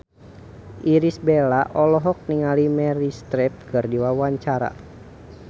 Irish Bella olohok ningali Meryl Streep keur diwawancara